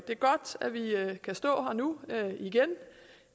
det er godt at vi kan stå her nu igen